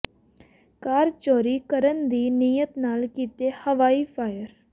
ਕਾਰ ਚੋਰੀ ਕਰਨ ਦੀ ਨੀਅਤ ਨਾਲ ਕੀਤੇ ਹਵਾਈ ਫਾਇਰ